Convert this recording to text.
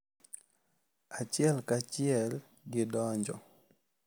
Achiel ka achiel gidonjo.